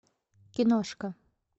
киношка